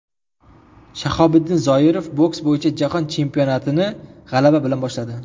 Shahobiddin Zoirov boks bo‘yicha Jahon chempionatini g‘alaba bilan boshladi.